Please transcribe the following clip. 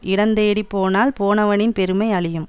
இடந்தேடிப் போனால் போனவனின் பெருமை அழியும்